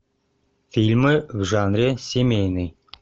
фильмы в жанре семейный